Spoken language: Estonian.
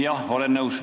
Jah, olen nõus.